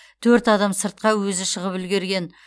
төрт адам сыртқа өзі шығып үлгерген